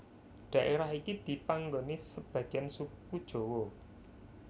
Daerah iki dipanggoni sebagiyan suku Jawa